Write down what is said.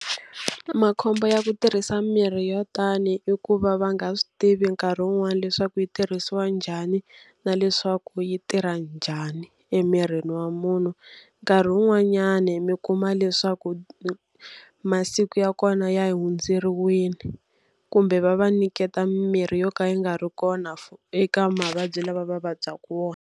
Makhombo ya ku tirhisa mimirhi yo tani i ku va va nga swi tivi nkarhi wun'wani leswaku yi tirhisiwa njhani, na leswaku yi tirha njhani emirini wa munhu. Nkarhi wun'wanyani mi kuma leswaku masiku ya kona ya hundzeriwile, kumbe va va nyiketa mimirhi yo ka yi nga ri kona eka mavabyi lawa va vabyaku wona.